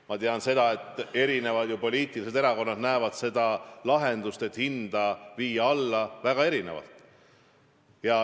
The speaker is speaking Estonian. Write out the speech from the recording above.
Ma tean, et mitmed erakonnad näevad seda lahendust, kuidas hinda alla viia, väga erinevalt.